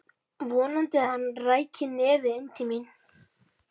Vonaði að hann ræki nefið inn til mín.